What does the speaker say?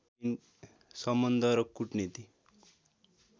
सम्बन्ध र कूटनीति